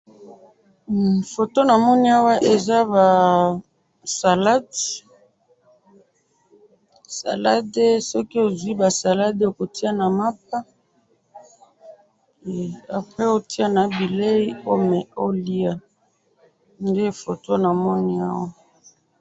Photo namoni awa eza ba salade, salade soki ozwi ba salade okotiya na mapa, he apres otiya na bileyi oliya nde photo namoni awa.